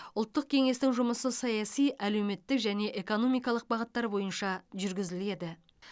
ұлттық кеңестің жұмысы саяси әлеуметтік және экономикалық бағыттар бойынша жүргізіледі